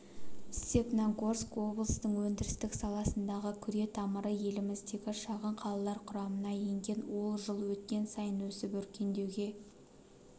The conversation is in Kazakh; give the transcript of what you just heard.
степногорск облыстың өндіріс саласындағы күретамыры еліміздегі шағын қалалар құрамына енген ол жыл өткен сайын өсіп өркендеуге